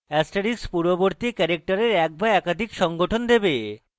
* পূর্ববর্তী ক্যারেক্টারের এক বা একাধিক সংঘটন দেবে